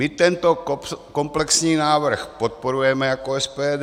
My tento komplexní návrh podporujeme jako SPD.